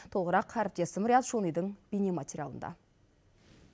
толығырақ әріптесім риат шонидың бейнематериалында